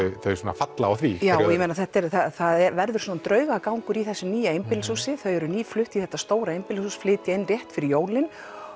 þau svona falla á því já ég meina það verður svona draugagangur í þessu nýja einbýlishúsi þau eru nýflutt í þetta stóra einbýlishús flytja inn rétt fyrir jólin